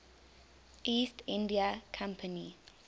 east india company